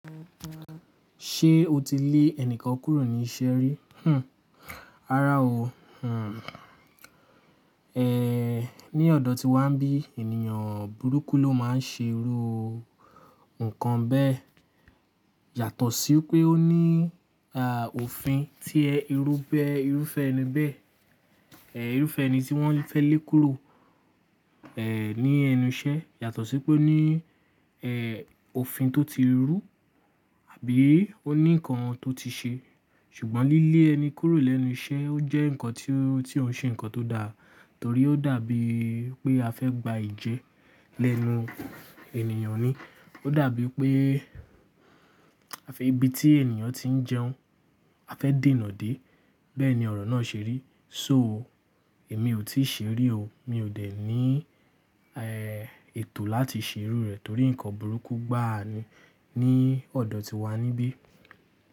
Ṣé o ti lé ẹnìkan kúrò ní iṣẹ́ rí? Hmmm! Rárá o. Hmmm, ẹ́, ní ọ̀dọ̀ tiwa níbí ènìyàn burúkú ló máa ń ṣe irú ohun kan bẹ́ẹ̀. Yàtọ̀ sí pé ó ní a, òfin tí ẹ, irú bẹ́, irúfẹ́ ẹni bẹ́ẹ̀, irúfẹ́ ẹni tí wọ́n fẹ́ lé kúrò, ẹ́, ní ẹnu iṣẹ́ yàtọ̀ sí pé ó ní, ẹ́, òfin tó ti rú àbí ó ní nǹkan tó ti ṣe. Ṣùgbọ́n lílé ẹni kúrò lẹ́nu iṣẹ́ ó jẹ́ nǹkan tí ó, tí ó ń ṣe nǹkan tó da, torí ó dàbí pé a fẹ́ gba ìjẹ́ lẹ́nu ènìyàn ni. Ó dàbí pé a fẹ́ ibi tí ènìyàn ti ń jẹun, a fẹ́ dènà dé. Bẹ́ẹ̀ ni ọ̀rọ̀ náà ṣe rí. So èmi ò tí ì ṣe rí o, mi ò dẹ̀ ní, ẹ́, ètò láti ṣe irú rẹ̀ torí nǹkan burúkú gbá a ni ní ọ̀dọ̀ tiwa níbí.